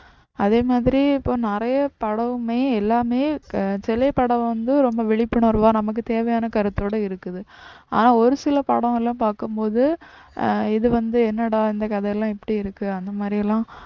அதே மாதிரி இப்போ நிறைய படமுமே எல்லாமே திரைப்படம் வந்து ரொம்ப விழிப்புணர்வா நமக்கு தேவையான கருத்தோட இருக்குது ஆனா ஒரு சில படம்லாம் பாக்கும்போது ஆஹ் இது வந்து என்னடா இந்த கதைலாம் இப்படி இருக்கு அந்த மாதிரிலாம்